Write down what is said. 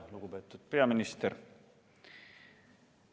Lugupeetud peaminister!